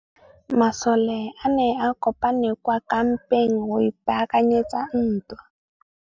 Masole a ne a kopane kwa kampeng go ipaakanyetsa ntwa.